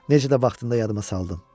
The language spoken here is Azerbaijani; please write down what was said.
Necə də vaxtında yadıma saldım.